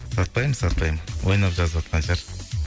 сатпаймын сатпаймын ойнап жазып отқан шығар